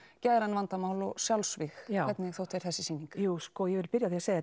geðræn vandamál og sjálfsvíg hvernig þótti þér þessi sýning jú sko ég vil byrja á að segja